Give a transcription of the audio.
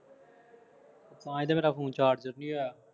ਤਾਂ ਹੀ ਮੇਰਾ ਫੋਨ ਚਾਰਜਰ ਨਹੀਂ ਹੋਇਆ